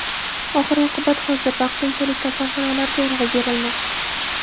Oxir-oqibat, hozir vaqtinchalik kasalxonalarga urg‘u berilmoqda.